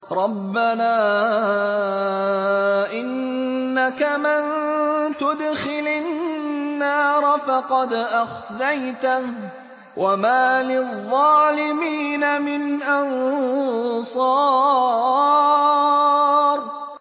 رَبَّنَا إِنَّكَ مَن تُدْخِلِ النَّارَ فَقَدْ أَخْزَيْتَهُ ۖ وَمَا لِلظَّالِمِينَ مِنْ أَنصَارٍ